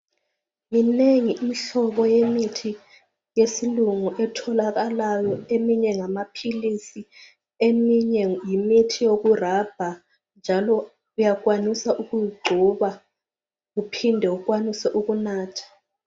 Minengi imihlobo yemithi yesilungu etholakalayo eminye ngamapills eminye yimithi yokurubber njalo uyakwanisa ukungcoba uphinde ukwanise ukunatha